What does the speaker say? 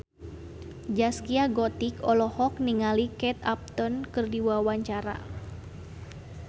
Zaskia Gotik olohok ningali Kate Upton keur diwawancara